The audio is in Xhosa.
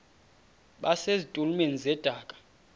base zitulmeni zedaka